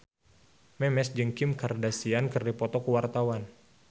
Memes jeung Kim Kardashian keur dipoto ku wartawan